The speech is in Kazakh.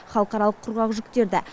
халықаралық құрғақ жүктеді